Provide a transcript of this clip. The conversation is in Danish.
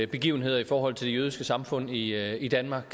begivenheder i forhold til det jødiske samfund i i danmark